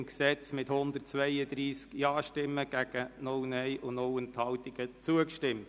Sie haben das Gesetz mit 132 Stimmen einstimmig angenommen.